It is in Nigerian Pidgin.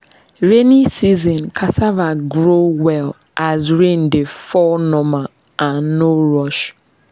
rainy season cassava grow well as rain dey fall normal and no rush.